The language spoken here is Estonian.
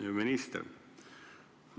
Hea minister!